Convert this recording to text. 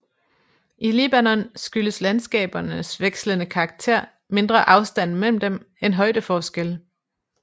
I Libanon skyldes landskabernes vekslende karakter mindre afstanden mellem dem end højdeforskelle